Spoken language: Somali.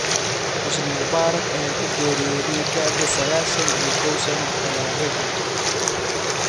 Xusni Mubaarak ayaa ku geeriyooday da’da sagashan iyo koow sano Talaadadii.